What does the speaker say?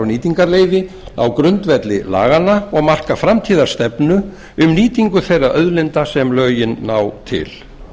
nýtingarleyfi á grundvelli laganna og marka framtíðarstefnu um nýtingu þeirra auðlinda sem lögin ná til